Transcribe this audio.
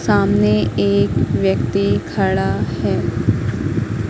सामने एक व्यक्ति खड़ा है।